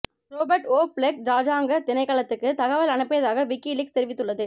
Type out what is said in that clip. Robert O Blake ராஜாங்க திணைக்களத்துக்கு தகவல் அனுப்பியதாக விக்கிலீக்ஸ் தெரிவித்துள்ளது